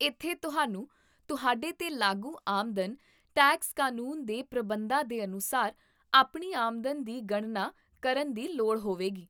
ਇੱਥੇ ਤੁਹਾਨੂੰ ਤੁਹਾਡੇ 'ਤੇ ਲਾਗੂ ਆਮਦਨ ਟੈਕਸ ਕਾਨੂੰਨ ਦੇ ਪ੍ਰਬੰਧਾਂ ਦੇ ਅਨੁਸਾਰ ਆਪਣੀ ਆਮਦਨ ਦੀ ਗਣਨਾ ਕਰਨ ਦੀ ਲੋੜ ਹੋਵੇਗੀ